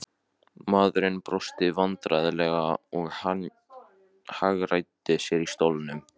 Maðurinn brosti vandræðalega og hagræddi sér í stólnum.